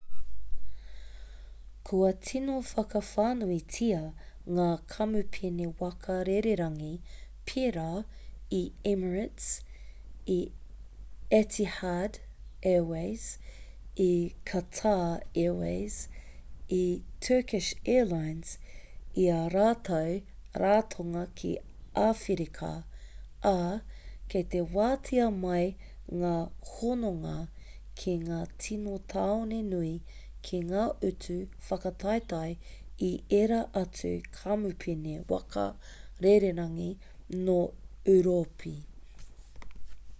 kua tino whakawhānuitia ngā kamupene waka rererangi pērā i emirates i etihad airways i quatar airways i turkish airlines i ā rātou ratonga ki āwherika ā kei te wātea mai ngā hononga ki ngā tini tāone nui ki ngā utu whakataetae i ērā atu kamupene waka rererangi nō ūropi